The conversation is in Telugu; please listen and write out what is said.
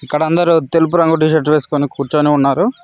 ఇక్కడ అందరూ తెలుపు రంగు టీషర్ట్ వేసుకొని కూర్చొని ఉన్నారు.